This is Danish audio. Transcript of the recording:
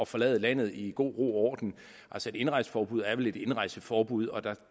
forlade landet i god ro og orden altså et indrejseforbud er vel et indrejseforbud og